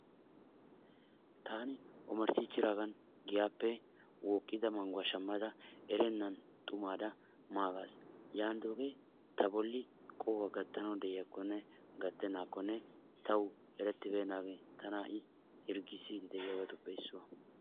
Taani omarsiichidaagan giyaape wooqqida manguwa shammada erennan xumaara maagas. Yaanidooge ta bolli qohuwa gattanaw de'iyakkonne gattennakkone taw erettibeennaage tana ha'i hirggissiidi de'iyaabatuppe issuwa.